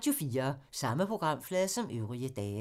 Samme programflade som øvrige dage